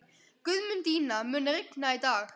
Guðmundína, mun rigna í dag?